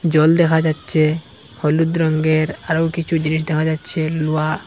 জল দেখা যাচ্ছে হলুদ রঙ্গের আরো কিছু জিনিস দেখা যাচ্ছে লুহা--